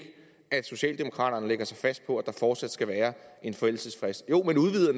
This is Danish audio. at socialdemokraterne lægger sig fast på at der fortsat skal være en forældelsesfrist jo man udvider